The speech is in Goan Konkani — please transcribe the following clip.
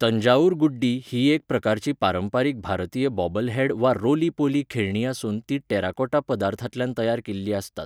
तंजावूर गुड्डी ही एक प्रकारची पारंपारीक भारतीय बॉबलहेड वा रोली पोली खेळणीं आसून ती टेराकोटा पदार्थांतल्यान तयार केल्ली आसतात.